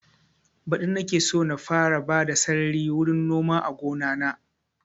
Badi nake so na fara bada sarari wurin noma a gona na